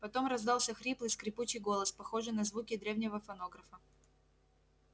потом раздался хриплый скрипучий голос похожий на звуки древнего фонографа